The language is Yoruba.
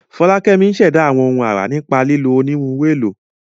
Folakemi ń ṣẹ̀dá àwọn ohun ara nípa lílo onírúurú ohun èlò.